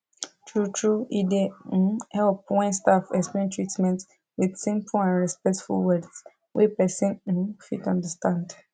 truetrue e dey um help when staff explain treatment with simple and respectful words wey person um fit understand